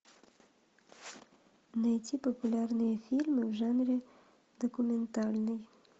найти популярные фильмы в жанре документальный